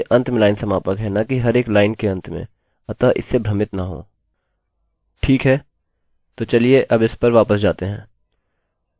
वहाँ पर आपके फंक्शन के अंत में लाइन समापक और न कि हर एक लाइन के अंत में अतः इससे भ्रमित न हों